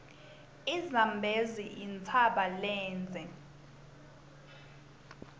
izambezi yintshaba lendze